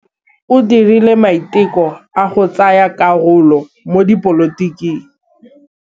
O dirile maitekô a go tsaya karolo mo dipolotiking.